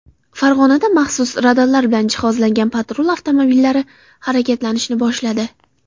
Farg‘onada maxsus radarlar bilan jihozlangan patrul avtomobillari harakatlanishni boshladi.